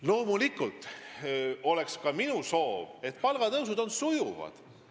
Loomulikult on see ka minu soov, et palgatõusud oleks sujuvad.